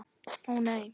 Ó nei.